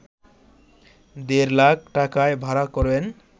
দেড় লাখ টাকায় ভাড়া করেন